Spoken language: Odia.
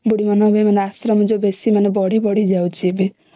ଆଶ୍ରୟ ମାନେ କେମିତି ବଢି ବଢି ଯାଉଛି